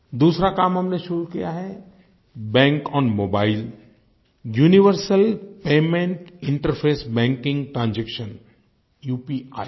दूसरा काम हमने शुरू किया है bank on mobile universal payment interface banking transaction UPI